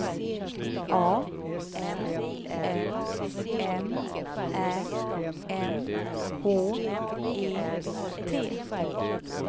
A L L M Ä N H E T